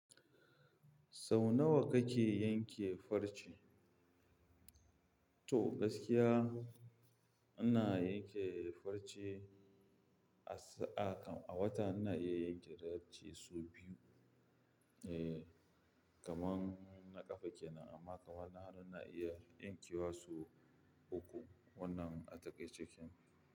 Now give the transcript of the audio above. Sau nawa kake yanke farce? To gaskiya ana yanke farce a sa kam, a wata ina iya yanke farce sau biyu. Eh kaman na ƙafa kenan amma kamar na hannu ina iya yankewa sau uku wannan a takaice kenan.